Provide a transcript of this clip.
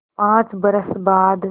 पाँच बरस बाद